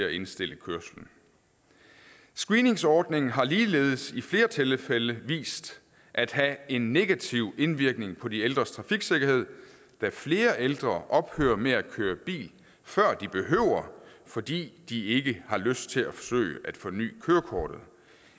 at indstille kørslen screeningsordningen har ligeledes i flere tilfælde vist at have en negativ indvirkning på de ældres trafiksikkerhed da flere ældre ophører med at køre bil før de behøver det fordi de ikke har lyst til at forsøge at forny kørekortet